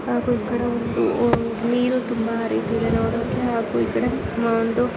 ಹಾಗೂ ಈ ಕಡೆ ಒಂದು ನೀರು ತುಂಬಾ ಹರಿತ ಇದೆ ನೋಡೋಕೆ ಹಾಗೂ ಈ ಕಡೆ ಒಂದು--